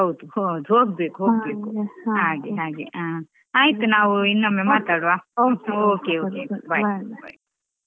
ಹೋಗ್ಬೇಕು ಹ ಹಾಗೆ ಆಯ್ತು ನಾವು ಇನ್ನೊಮ್ಮೆ ಮಾತಾಡ್ವ?